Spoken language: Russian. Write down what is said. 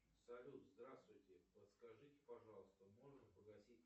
салют здравствуйте подскажите пожалуйста можно погасить